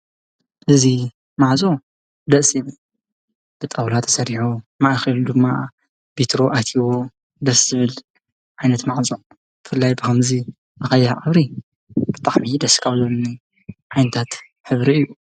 እዚ ማዕጾ ደስ ይብል፤ ብጣዉላ ተሰሪሑ ማእከሉ ድማ ቢትሮ ኣትይዎ ደስ ዝብል ዓይነት ማዕጾ ብፍላይ ብከምዚ ብቀይሕ ሕብሪ ብጣዕሚ ደስ ካብ ዝብሉኒ ዓይነታት ሕብሪ እዩ ።